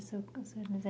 mas é